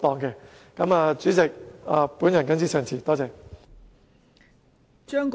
代理主席，我謹此陳辭，多謝。